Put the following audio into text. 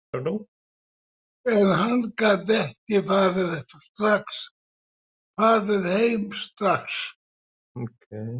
En hann gat ekki farið heim strax.